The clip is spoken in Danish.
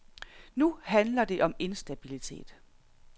Nu handler det om instabilitet.